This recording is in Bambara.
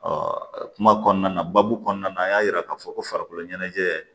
kuma kɔnɔna na babu kɔnɔna na an y'a yira k'a fɔ ko farikolo ɲɛnajɛ